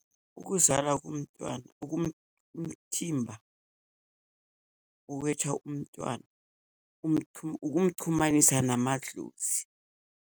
Ukuzala komntwana umthimba uwetha umntwana ukumchumanisa namadlozi.